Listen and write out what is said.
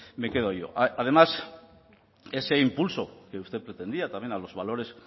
me quedo yo además ese impulso que usted pretendía también a los valores